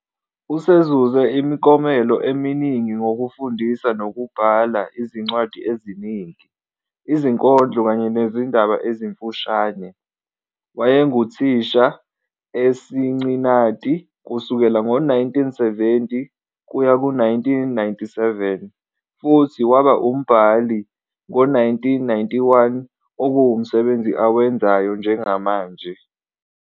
Usezuze imiklomelo eminingi ngokufundisa nokubhala izincwadi eziningi, izinkondlo kanye nezindaba ezimfushane. Wayenguthisha eCincinnati kusukela ngo-1970-1997 futhi waba umbhali ngo-1991, okuwumsebenzi awenzayo njengamanje.